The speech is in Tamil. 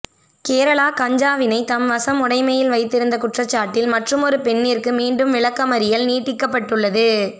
கேரளா கஞ்சாவினை தம்வசம் உடமையில் வைத்திருந்த குற்றசாட்டில் மற்றும் ஒரு பெண்ணிற்கு மீண்டும் விளக்கமறியல் நீடிக்கப்பட்டுள்ளது